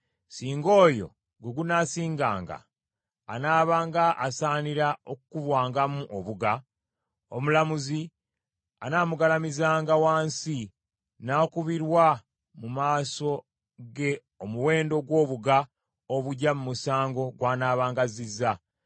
Singa oyo gwe gunaasiŋŋanga anaabanga asaanira okukubwangamu obuga, omulamuzi anaamugalamizanga wansi n’akubirwa mu maaso ge omuwendo gw’obuga obuggya mu musango gw’anaabanga azzizza,